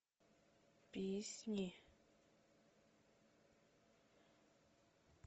песни